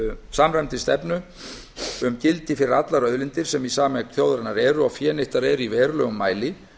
samræmdri stefnu sem gildi fyrir allar auðlindir sem í sameign þjóðarinnar eru og fénýttar í verulegum mæli